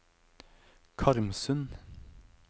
Karmsund